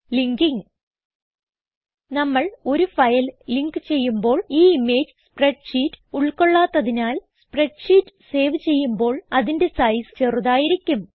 linking നമ്മൾ ഒരു file link ചെയ്യുമ്പോൾ ഈ ഇമേജ് സ്പ്രെഡ് ഷീറ്റ് ഉൾകൊള്ളാത്തതിനാൽ സ്പ്രെഡ്ഷീറ്റ് സേവ് ചെയ്യുമ്പോൾ അതിന്റെ സൈസ് ചെറുതായിരിക്കും